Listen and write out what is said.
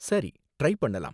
சரி ட்ரை பண்ணலாம்.